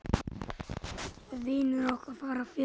Vinir okkar fara fjöld.